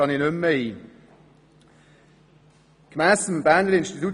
Darauf gehe ich nicht mehr ein.